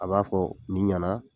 A b'a fɔ nin ɲana.